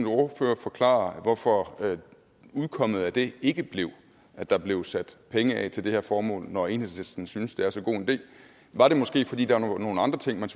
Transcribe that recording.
ordfører forklare hvorfor udkommet af det ikke blev at der blev sat penge af til det her formål når enhedslisten synes det er så god en idé var det måske fordi der var nogle andre ting man